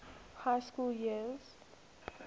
high school years